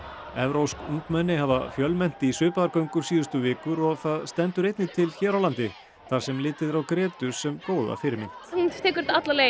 evrópsk ungmenni hafa fjölmennt í svipaðar göngur síðustu vikur og það stendur einnig til hér á landi þar sem litið er á Grétu sem góða fyrirmynd hún tekur þetta alla leið